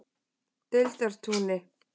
Deildartúni